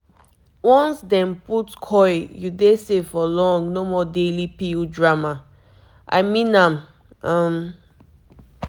once dem put coil you dey safe for long no more daily pill drama I mean am um